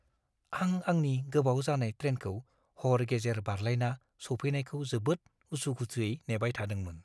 आं आंनि गोबाव जानाय ट्रेनखौ हर गेजेर बारलायना सौफैनायखौ जोबोद उसु-खुथुयै नेबाय थादोंमोन।